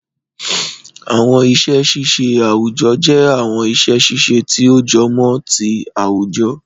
Àwọn iṣẹ́ ṣíṣe àwùjọ jẹ́ àwọn iṣẹ́ ṣíṣe tí ó jọmọ́ ti àwùjọ